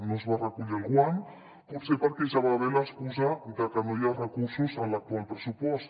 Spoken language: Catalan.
no es va recollir el guant potser perquè ja va bé l’excusa de que no hi ha recursos en l’actual pressupost